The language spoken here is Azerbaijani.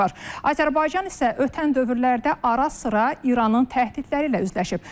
Azərbaycan isə ötən dövrlərdə ara-sıra İranın təhdidləri ilə üzləşib.